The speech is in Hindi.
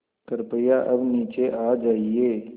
कृपया अब नीचे आ जाइये